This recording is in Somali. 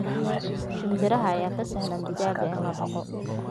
shinbiraha ayaa ka sahlan digaagga in la daaqo